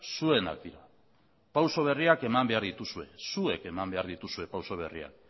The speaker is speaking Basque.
zuenak dira pauso berriak eman behar dituzue zuek eman behar dituzue pauso berriak